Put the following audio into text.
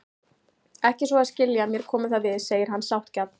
Ekki svo að skilja að mér komi það við, segir hann sáttgjarn.